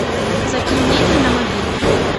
закинь деньги на мобильный